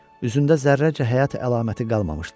Üzündə zərrəcə həyat əlaməti qalmamışdı.